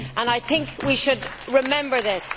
I think we should remember this.